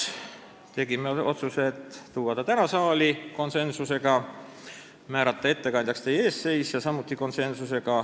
Tegime otsuse tuua küsimus täna saali ja määrata ettekandjaks teie ees seisja .